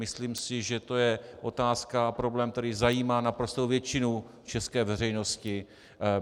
Myslím si, že to je otázka a problém, který zajímá naprostou většinu české veřejnosti.